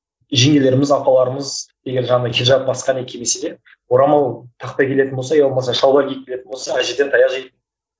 жеңгелеріміз апаларымыз егер жаңағыдай хиджап басқа не кимесе де орамал тақпай келетін болса ия болмаса шалбар киіп келетін болса әжеден таяқ жейді